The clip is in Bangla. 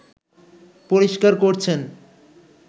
পরিষ্কার করছেন